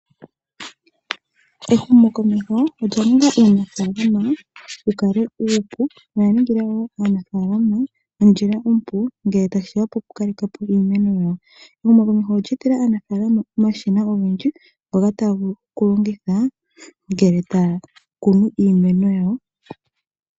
Ehumokomeho olya ninga uunafaalama wukale uupu. Oya ningila wo aanafalama ondjila ompu ngele tashiya po kukalepo iimeno yawo. Ehumokomeho olye etela aanafalama omashina ogendji ngoka taya vulu okulongitha ngele taya kunu iimeno yawo.